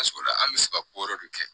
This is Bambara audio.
an bɛ se ka ko wɛrɛ de kɛ